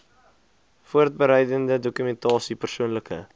voorbereidende dokumentasie persoonlike